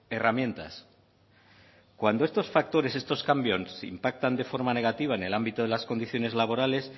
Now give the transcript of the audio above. herramientas cuando estos factores estos cambios impactan de forma negativa en el ámbito de las condiciones laborales